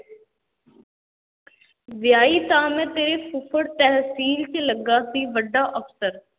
ਵਿਆਹੀ ਤਾਂ ਮੈਂ ਤੇਰੇ ਫੁੱਫੜ ਤਹਿਸੀਲ 'ਚ ਲੱਗਾ ਸੀ ਵੱਡਾ ਅਫ਼ਸਰ।